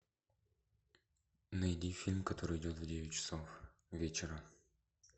найди фильм который идет в девять часов вечера